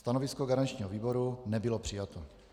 Stanovisko garančního výboru nebylo přijato.